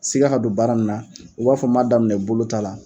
Siga ka don baara nin na i b'a fɔ n b'a daminɛ bolo ta' la